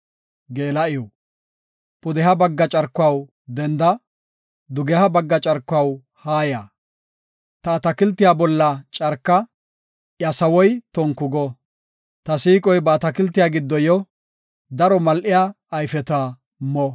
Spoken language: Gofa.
Pudeha bagga carkuwaw, denda! dugeha bagga carkuwaw, haaya! Ta atakiltiya bolla carka! iya sawoy tonku go. Ta siiqoy ba atakiltiya giddo yo; daro mal7iya ayfeta mo.